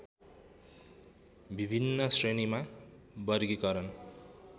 विभिन्न श्रेणीमा वर्गीकरण